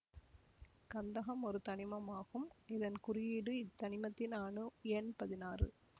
கந்தகம் ஒரு தனிமம் ஆகும் இதன் குறியீடு இத்தனிமத்தின் அணு எண் பதினாறு